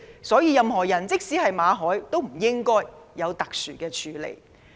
所以，任何人，即使是馬凱，都不應該有特殊的處理。